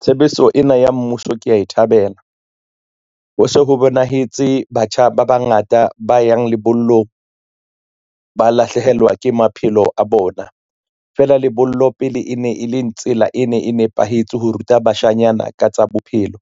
Tshebetso ena ya mmuso kea e thabela. Ho se ho bonahetse batjha ba bangata ba yang lebollong ba lahlehelwa ke maphelo a bona, feela lebollo pele e ne e le tsela, e ne e nepahetse ho ruta bashanyana ka tsa bophelo.